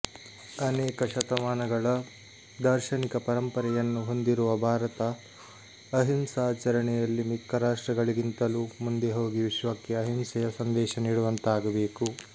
ಅನೇಕ ಶತಮಾನಗಳ ದಾರ್ಶನಿಕ ಪರಂಪರೆಯನ್ನು ಹೊಂದಿರುವ ಭಾರತ ಅಹಿಂಸಾಚರಣೆಯಲ್ಲಿ ಮಿಕ್ಕ ರಾಷ್ಟ್ರಗಳಿಗಿಂತಲೂ ಮುಂದೆ ಹೋಗಿ ವಿಶ್ವಕ್ಕೆ ಅಹಿಂಸೆಯ ಸಂದೇಶ ನೀಡುವಂತಾಗಬೇಕು